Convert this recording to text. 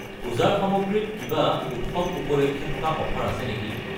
পূজাৰ সামগ্ৰী ত কিবা উৎসৱ উপলক্ষে থকা অফাৰ আছে নেকি?